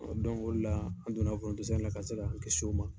o de la an donna foronto sɛnɛ la, ka se k'an kisi o ma.